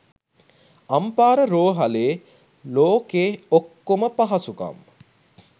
අම්පාර රෝහලේ ලෝකෙ ඔක්කොම පහසුකම්